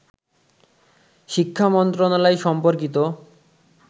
শিক্ষা মন্ত্রণালয় সম্পর্কিত